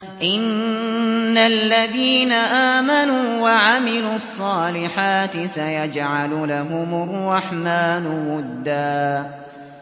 إِنَّ الَّذِينَ آمَنُوا وَعَمِلُوا الصَّالِحَاتِ سَيَجْعَلُ لَهُمُ الرَّحْمَٰنُ وُدًّا